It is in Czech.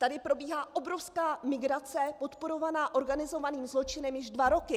Tady probíhá obrovská migrace podporovaná organizovaným zločinem již dva roky.